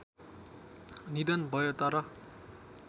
निधन भयो तर